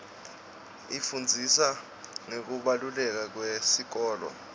ifundzisa ngekubaluleka kwesikolo